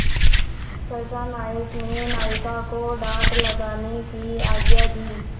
सहसा नायक ने नाविकों को डाँड लगाने की आज्ञा दी